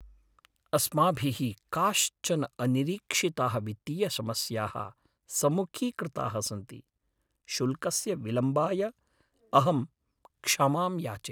अस्माभिः काश्चन अनिरीक्षिताः वित्तीयसमस्याः सम्मुखीकृताः सन्ति, शुल्कस्य विलम्बाय अहं क्षमां याचे।